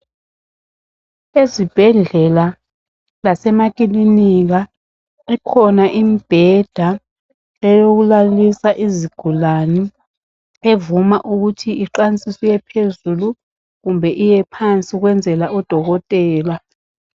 Ezibhedlela lasemakilinika ikhona imibheda eyokulalisa izigulane evuma ukuthi iqansiswe iyephezulu kumbe iyephansi ukwenzela odokotela.